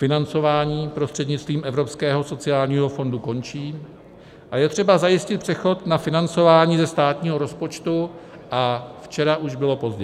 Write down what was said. Financování prostřednictvím Evropského sociálního fondu končí a je třeba zajistit přechod na financování ze státního rozpočtu, a včera už bylo pozdě.